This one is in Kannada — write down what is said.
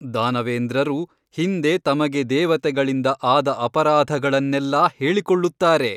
ದಾನವೇಂದ್ರರು ಹಿಂದೆ ತಮಗೆ ದೇವತೆಗಳಿಂದ ಆದ ಅಪರಾಧಗಳನ್ನೆಲ್ಲಾ ಹೇಳಿಕೊಳ್ಳುತ್ತಾರೆ.